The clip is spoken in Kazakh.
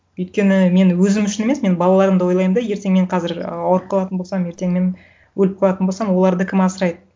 өйткені мен өзім үшін емес мен балаларымды ойлаймын да ертең мен қазір ауырып қалатын болсам ертең мен өліп қалатын болсам оларды кім асырайды